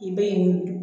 I bɛ nin